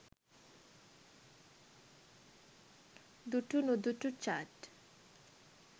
dutunudutu chat